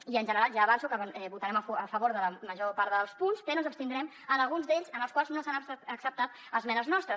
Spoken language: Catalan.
i en general ja avanço que votarem a favor de la major part dels punts però ens abstindrem en alguns d’ells en els quals no s’han acceptat esmenes nostres